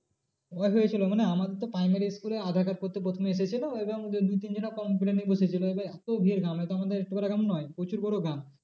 একবার হয়েছিল মনে আমাদের তো primary school এ aadhaar card করতে প্রথমে এসেছিলো এবং দু তিন জন computer নিয়ে বসেছিল আবার এত ভিড় গ্রামে তো আমাদের একটু পারা গ্রাম না প্রচুর বড়ো গ্রাম।